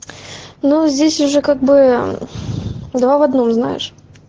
ну здесь уже как быы два в одном знаешь